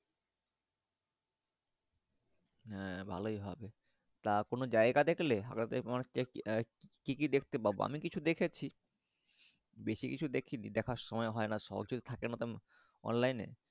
হ্যাঁ ভালোই হবে তা কোনো জায়গা দেখলে আহ কি কি দেখতে পাবা আমি কিছু দেখেছি বেশি কিছু দেখিনি দেখার সময় হয়না সময় সহজে থাকে না তেমন Online এ।